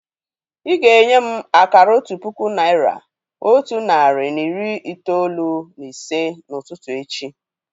Ị́ ga-enye m akara otu puku naị́ra, otu narị na iri itoolu na ise n'ụtụtụ echi